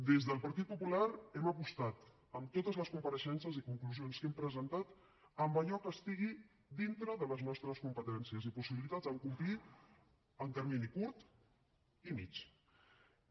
des del partit popular hem apostat en totes les compareixences i conclusions que hem presentat a allò que estigui dintre de les nostres competències i possibilitats en complir en termini curt i mitjà